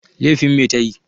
Lefin me ta yi?